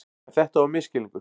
En þetta var misskilningur.